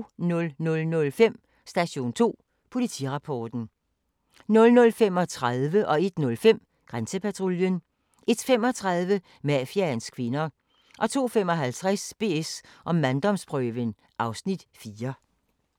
00:05: Station 2: Politirapporten 00:35: Grænsepatruljen 01:05: Grænsepatruljen 01:35: Mafiaens kvinder 02:55: BS & manddomsprøven (Afs. 4)